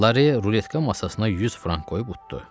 Lare ruletka masasına 100 frank qoyub uddu.